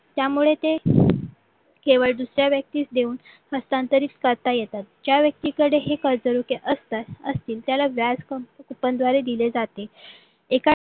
त्यामुळे ते केवळ दुसऱ्या व्यक्तीस देऊन हस्तांतरित करता येतात ज्या व्यक्तीकडे ही कर्जरोखे असतात असतील त्याला व्याज coupon द्वारे दिले जाते किंव्हा